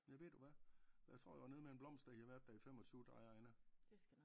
Ja ved du hvad for jeg tror jeg var nede med en blomst da I havde været der i 25 dig og Anna